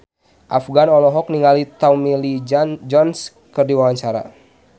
Afgan olohok ningali Tommy Lee Jones keur diwawancara